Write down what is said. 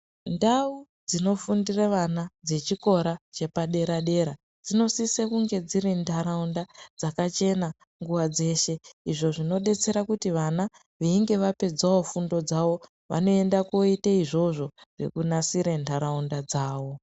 Ndau dzinofundira vana dzechikora chepadera dera dzinosisirwa kunge dziri ndaraunda dzakachena nguwa dzeshe ,izvo zvinodetsera kuti vana vainge vapedzawo fundo dzavo vanoenda koite izvozvo zvekunasire ndaraunda dzavo.